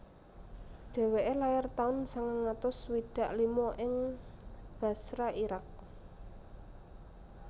Dheweke lair taun sangang atus swidak lima ing Basra Irak